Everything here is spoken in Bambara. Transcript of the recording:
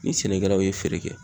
Ni sɛnɛkɛlaw ye feere kɛ